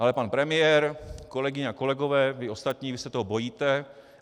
Ale pan premiér, kolegyně a kolegové, vy ostatní, vy se toho bojíte!